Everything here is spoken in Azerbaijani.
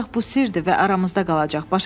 Ancaq bu sirdir və aramızda qalacaq.